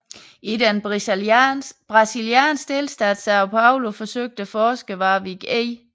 I den brasilianske delstat São Paulo forsøgte forskeren Warwick E